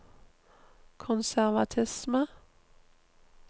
konservatisme